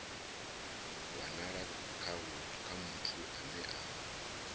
wanala kha muthu ane a